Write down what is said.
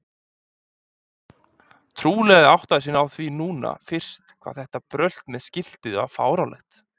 Trúlega áttaði hann sig á því núna fyrst hvað þetta brölt með skiltið var fáránlegt.